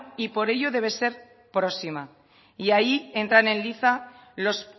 y por ello debe ser próxima y ahí entran en liza los